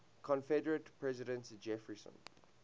confederate president jefferson